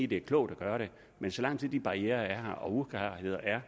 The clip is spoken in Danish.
det er klogt at gøre det men så lang tid de barrierer og uklarheder er